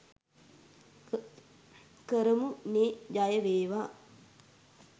කරමු නේ ජය වේවා